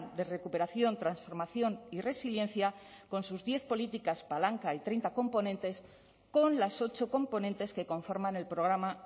de recuperación transformación y resiliencia con sus diez políticas palanca y treinta componentes con las ocho componentes que conforman el programa